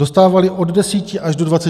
Dostávali od 10 až do 20 gramů.